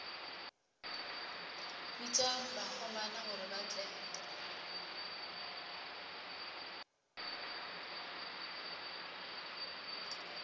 bitša bakgomana gore ba tle